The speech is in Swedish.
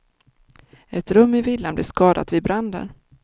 Ett rum i villan blev skadat vid branden.